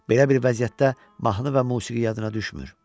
Belə bir vəziyyətdə mahnı və musiqi yadına düşmür.